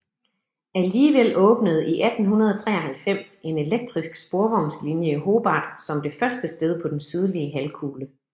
Alligevel åbnede i 1893 en elektrisk sporvognslinje i Hobart som det første sted på den sydlige halvkugle